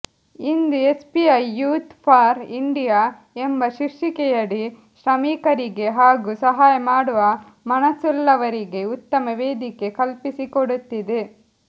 into SBI youth for India ಎಂಬ ಶೀರ್ಷಿಕೆಯಡಿ ಶ್ರಮಿಕರಿಗೆ ಹಾಗೂ ಸಹಾಯ ಮಾಡುವ ಮನಸ್ಸುಳ್ಳವರಿಗೆ ಉತ್ತಮ ವೇದಿಕೆ ಕಲ್ಪಿಸಿಕೊಡುತ್ತಿದೆ